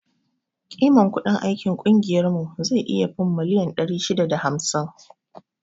Kiman kudin aikin ƙungiyar mu zai iya fin miliyan ɗari shida da hamsin